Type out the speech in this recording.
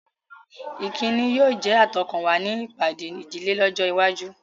Ìkíni yóò jẹ́ àtọkànwá ní ìpàdé ìdílé lọ́jọ́ iwájú.